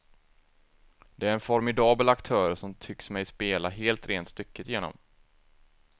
Det är en formidabel aktör som tycks mig spela helt rent stycket igenom.